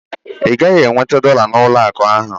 Ị gaghị enweta dọla n'ụlọakụ ahụ